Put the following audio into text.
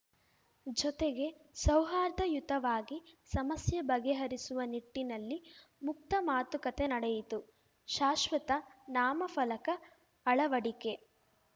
ಜೊತೆಗೆ ಸೌಹಾರ್ದಯುತವಾಗಿ ಸಮಸ್ಯೆ ಬಗೆಹರಿಸುವ ನಿಟ್ಟಿನಲ್ಲಿ ಮುಕ್ತ ಮಾತುಕತೆ ನಡೆಯಿತು ಶಾಶ್ವತ ನಾಮಫಲಕ ಅಳವಡಿಕೆ